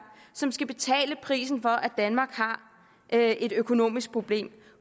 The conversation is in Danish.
som skal betale prisen for at danmark har et et økonomisk problem